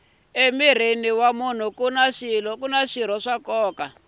emirhini kuni swirho swa nkoka